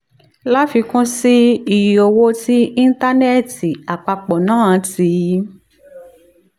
láfikún sí i iye owó tí íńtánẹ́ẹ̀tì àpapọ̀ ń ná ti